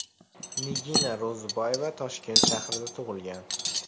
Nigina Ro‘ziboyeva Toshkent shahrida tug‘ilgan.